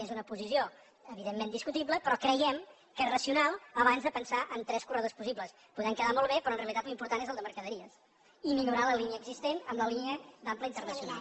és una posició evidentment discutible però creiem que és racional abans de pensar en tres corredors possibles podran quedar molt bé però en realitat l’important és el de mercaderies i millorar la línia existent amb la línia d’ample internacional